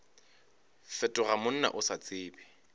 fetoga monna o sa tsebe